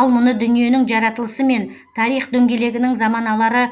ал мұны дүниенің жаратылысымен тарих дөңгелегінің заманалары